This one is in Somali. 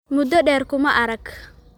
Muddo dheer kuma arag